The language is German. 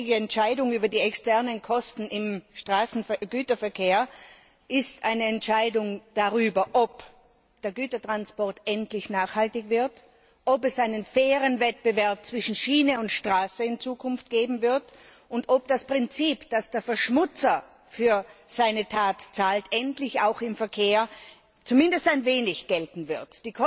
Die morgige Entscheidung über die externen Kosten im Straßengüterverkehr ist eine Entscheidung darüber, ob der Gütertransport endlich nachhaltig wird, ob es in Zukunft einen fairen Wettbewerb zwischen Schiene und Straße geben wird und ob das Prinzip, dass der Verschmutzer für seine Tat zahlt, endlich auch im Verkehr zumindest ein wenig gelten wird.